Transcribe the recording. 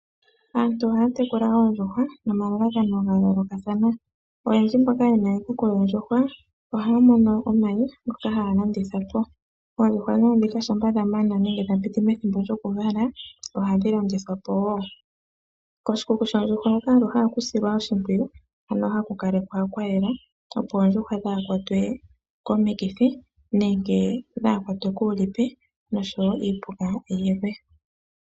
Aantu ohaya tekula oondjuhwa nomalalakano ga yoolokathana. Oyendji mboka ye na iikuku yoondjuhwa ohaya mono mo omayi ogendji ngoka haya landitha po. Oondjuhwa shampa dha piti methimbo lyokuvala omayi ohadhi landithwa po woo. Koshikuku shoondjuhwa ohaku silwa oshimpwiyu ano haku kalekwa kwa yela, opo oondjuhwa dhaa ha kwatwe komikithi nosho wo kuupuka.